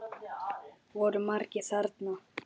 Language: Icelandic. Voru margir þarna?